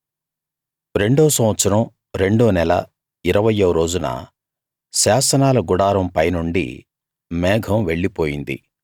రెండో సంవత్సరం రెండో నెల ఇరవయ్యో రోజున శాసనాల గుడారం పైనుండి మేఘం వెళ్లి పోయింది